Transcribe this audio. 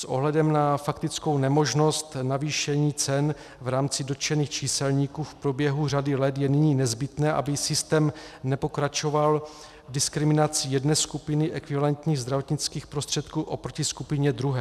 S ohledem na faktickou nemožnost navýšení cen v rámci dotčených číselníků v průběhu řady let je nyní nezbytné, aby systém nepokračoval diskriminací jedné skupiny ekvivalentních zdravotnických prostředků oproti skupině druhé.